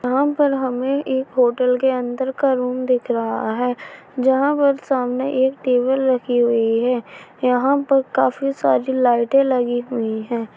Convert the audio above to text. यहाँ पर हमे एक होटल के अन्दर का रूम दिख रहा है जहाँ पर सामने एक टेबल रखी हुई है यहाँ पर काफी सारी लाइटें लगी हुई हैं।